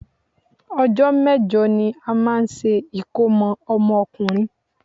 Ọjọ́ mẹ́jọ ní a máa ń ṣe ìkómọ ọmọkùnrin.